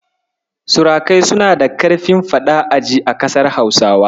Surukai suna da ƙarfin faɗa-a-ji a ƙasar Hausawa.